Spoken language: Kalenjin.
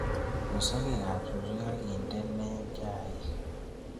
But sakeek ab suusweek akindene chayiik